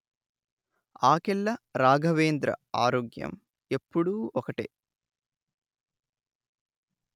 ఆకెళ్ల రాఘవేంద్ర ఆరోగ్యం ఎపుడూ ఒకటే